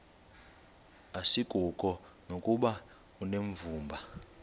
asikuko nokuba unevumba